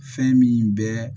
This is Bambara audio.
Fɛn min bɛ